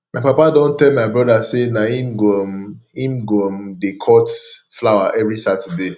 my papa don tell my broda sey na him go um him go um dey cut flower every saturday